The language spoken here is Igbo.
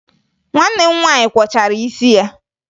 Nwanne m nwaanyị kwọchara isi ya